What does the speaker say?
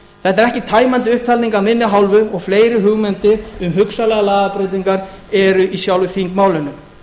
þetta er ekki tæmandi upptalning af minni hálfu og fleiri hugmyndir um hugsanlegar lagabreytingar eru í sjálfu þingmálinu